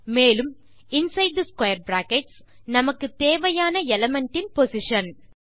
மேலும் inside square brackets நமக்கு தேவையான எலிமெண்ட் இன் பொசிஷன்